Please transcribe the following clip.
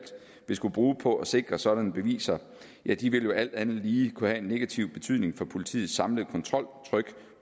vil skulle bruge på at sikre sådanne beviser vil jo alt andet lige kunne have en negativ betydning for politiets samlede kontroltryk